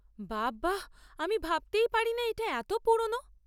বাবা! আমি ভাবতেই পারি না এটা এত পুরোনো।